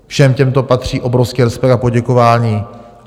Všem těmto patří obrovský respekt a poděkování.